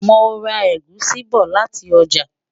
mọ rà egusi bó láti ọjà